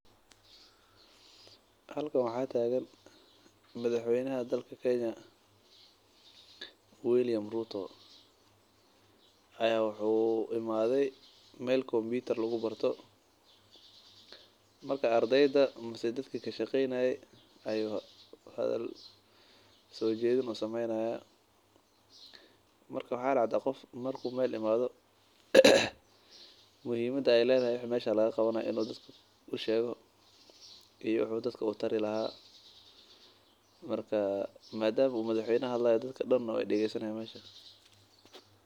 Halkan waxaa tagan madax weynaha dalka kenya ayaa wuxuu imaade meel lagu barto kompitarka marka ardeyda ayuu hadal usoo jedini hayaa marka waxa lagu qabto ayuu bari haaya madama uu hadlaayo dadka dan waay dageesani haayan.